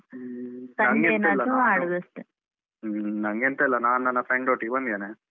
ಹ್ಮ ಹ್ಮ್ ನಂಗೆ ಎಂತ ಇಲ್ಲ ನಾನು ನನ್ನ friend ಒಟ್ಟಿಗೆ ಬಂದಿದ್ದೇನೆ.